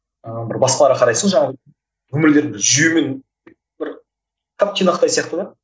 ыыы бір басқаларға қарайсың ғой жаңағы өмірлері бір жүйемен бір тап тұйнақтай сияқты да